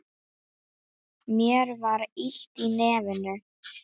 Mér var illt í nefinu.